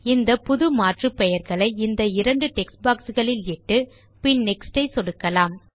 இந்த புது மாற்றுப்பெயர்களை இந்த இரண்டு டெக்ஸ்ட் boxகளில் இட்டு பின் நெக்ஸ்ட் ஐ சொடுக்கலாம்